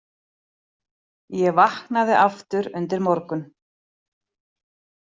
Ég vaknaði aftur undir morgun.